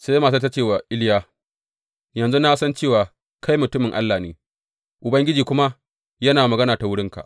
Sai matar ta ce wa Iliya, Yanzu na san cewa kai mutumin Allah ne, Ubangiji kuma yana magana ta wurinka.